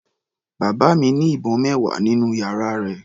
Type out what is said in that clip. Bàbá mi ní ìbọn mẹwa nínú yàrá rẹ̀.